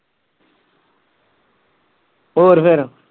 ਹੋਰ ਫੇਰ